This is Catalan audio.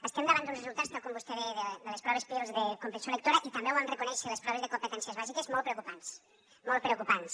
estem davant d’uns resultats tal com vostè deia de les proves pirls de comprensió lectora i també ho vam reconèixer de les proves de competències bàsiques molt preocupants molt preocupants